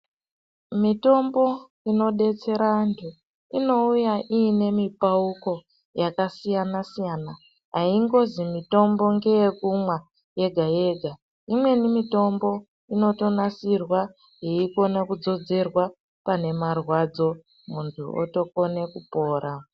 Mitombo inodetsera antu inouya ine mipauko yakasiyana siyana aingozi mitombo ndeyekumwa yega yega imweni mitombo inotonasirwa yeikona kudzodzerwa pane marwadzo muntu opora.